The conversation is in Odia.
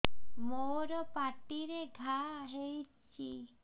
ମୋର ପାଟିରେ ଘା ହେଇଚି